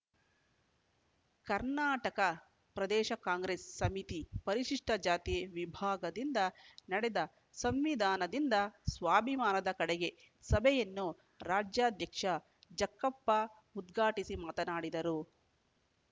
ಕರ್ನಾಟಕ ಪ್ರದೇಶ ಕಾಂಗ್ರೆಸ್‌ ಸಮಿತಿ ಪರಿಶಿಷ್ಟಜಾತಿ ವಿಭಾಗದಿಂದ ನಡೆದ ಸಂವಿಧಾನದಿಂದ ಸ್ವಾಭಿಮಾನದ ಕಡೆಗೆ ಸಭೆಯನ್ನು ರಾಜ್ಯಾಧ್ಯಕ್ಷ ಜಕ್ಕಪ್ಪ ಉದ್ಘಾಟಿಸಿ ಮಾತನಾಡಿದರು